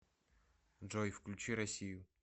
джой включи россию